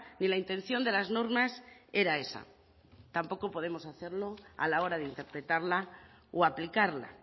ni la intención de las normas era esa tampoco podemos hacerlo a la hora de interpretarla o aplicarla